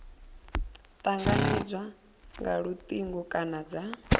tanganedzwa nga lutingo kana dza